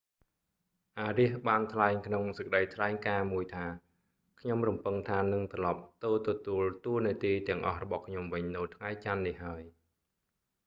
arias បានថ្លែងក្នុងសេចក្តីថ្លែងការណ៍មួយថា «ខ្ញុំរំពឹងថានឹង​ត្រឡប់​ទៅទទួលតួនាទីទាំងអស់របស់ខ្ញុំវិញនៅថ្ងៃច័ន្ទ​នេះ​ហើយ»​។